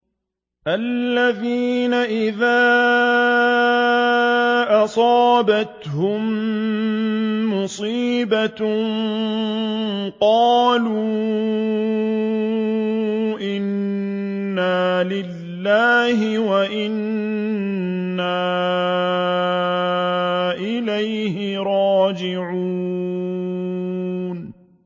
الَّذِينَ إِذَا أَصَابَتْهُم مُّصِيبَةٌ قَالُوا إِنَّا لِلَّهِ وَإِنَّا إِلَيْهِ رَاجِعُونَ